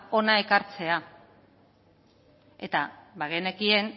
hona ekartzea eta bagenekien